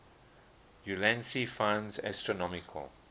ulansey finds astronomical